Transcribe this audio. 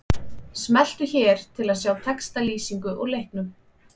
Smelltu hér til að sjá textalýsingu úr leiknum